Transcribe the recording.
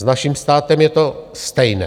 S naším státem je to stejné.